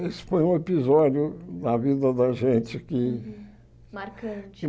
Esse foi um episódio da vida da gente que... Marcante.